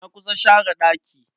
Na kusa share ɗaki.